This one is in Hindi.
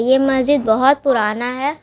यह मस्जिद बहुत पुराना है।